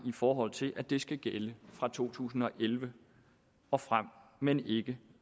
i forhold til at det skal gælde fra to tusind og elleve og frem men ikke